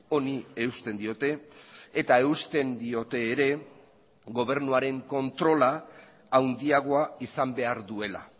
honi eusten diote eta eusten diote ere gobernuaren kontrola handiagoa izan behar duela